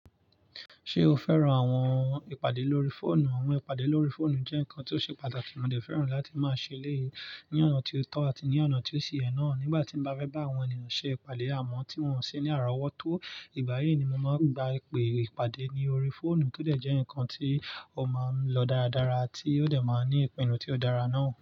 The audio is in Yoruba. Ṣé o fẹ́ran àwọn ìpàdé lórí fóònù? Àwọn ìpàdé lórí fóònù jẹ́ nǹkan tí ó ṣe pàtàkì, mo dẹ̀ fẹ́ràn láti máa ṣe léyìí ní ọ̀nà tí ó tọ́ àti ní ọ̀nà tí ó ṣe ẹ́ náà. Nígbà tí mo bá fẹ́ bá àwọn ènìyàn ṣe ìpàdé àmọ́ tí wọn sì ní àrọ̀wọ́tó, ìgbà yìí ni mo máa ń gba ipè ìpàdé ní orí fóònù tó dẹ̀ jẹ́ nǹkan tí ó máa ń lọ dáradára tí ó dẹ̀ máa ń ní ìpinnu tí ó dára náà.